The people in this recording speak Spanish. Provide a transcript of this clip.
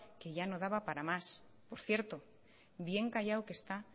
que ya no daba para más por cierto bien callado que está